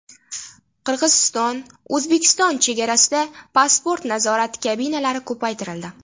Qirg‘iziston-O‘zbekiston chegarasida pasport nazorati kabinalari ko‘paytirildi.